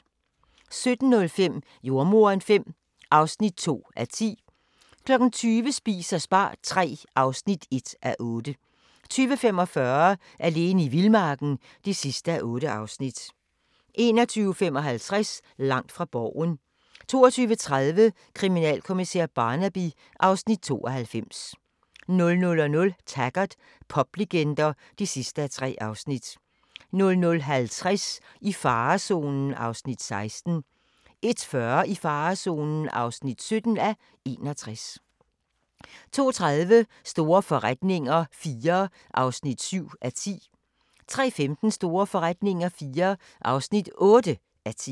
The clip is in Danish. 17:05: Jordemoderen V (2:10) 20:00: Spis og spar III (1:8) 20:45: Alene i vildmarken (8:8) 21:55: Langt fra Borgen 22:30: Kriminalkommissær Barnaby (Afs. 92) 00:00: Taggart: Poplegender (3:3) 00:50: I farezonen (16:61) 01:40: I farezonen (17:61) 02:30: Store forretninger IV (7:10) 03:15: Store forretninger IV (8:10)